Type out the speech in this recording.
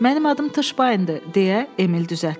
Mənim adım Tşbayndır, deyə Emil düzəltdi.